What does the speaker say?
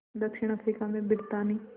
दक्षिण अफ्रीका में ब्रितानी